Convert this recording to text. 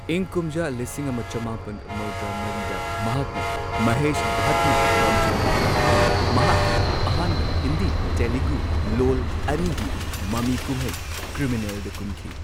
ꯏꯪ ꯀꯨꯝꯖꯥ ꯂꯤꯁꯤꯡ ꯑꯃ ꯆꯃꯥꯄꯟ ꯃꯧꯗ꯭ꯔꯥ ꯃꯔꯤꯗ ꯃꯍꯥꯛꯅ ꯃꯍꯦꯁ ꯚꯠꯅ ꯂꯝꯖꯤꯡ ꯂꯝꯇꯥꯛꯄ ꯃꯍꯥꯛꯀꯤ ꯑꯍꯥꯟꯕ ꯍꯤꯟꯗꯤ ꯇꯦꯂꯨꯒꯨ ꯂꯣꯜ ꯑꯅꯤꯒꯤ ꯃꯃꯤꯀꯨꯝꯍꯩ ꯀ꯭ꯔꯤꯃꯤꯅꯦꯜꯗ ꯀꯨꯝꯈꯤ꯫